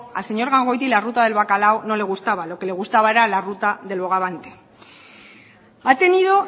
al señor gangoiti la ruta del bacalao no le gustaba lo que le gustaba era la ruta del bogavante ha tenido